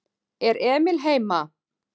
Er Emil heima?